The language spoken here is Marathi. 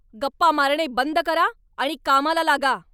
गप्पा मारणे बंद करा आणि कामाला लगा!